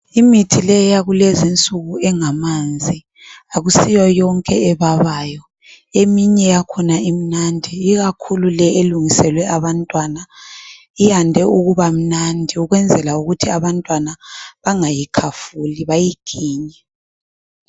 Imithi le yakulezinsuku engamanzi akusiyoyonke ebabayo eminye yakhona imnandi ikakhulu le elungiselwe abantwana iyande ukuba mnandi ukwenzela ukuthi abantwana bangayikhafuli bayiginye.